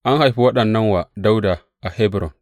An haifi waɗannan wa Dawuda a Hebron.